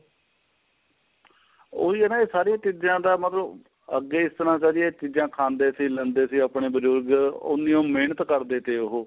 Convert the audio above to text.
ਉਹੀ ਏ ਨਾ ਸਾਰੀਆਂ ਚੀਜ਼ਾਂ ਦਾ ਮਤਲਬ ਅੱਗੇ ਇਸ ਤਰ੍ਹਾਂ ਤਾਂ ਜੀ ਇਹ ਚੀਜ਼ਾਂ ਖਾਂਦੇ ਸੀ ਲੈਂਦੇ ਸੀ ਆਪਣੇ ਬਜੁਰਗ ਉੰਨੀ ਉਹ ਮਹਿਨਤ ਕਰਦੇ ਸੀ ਉਹ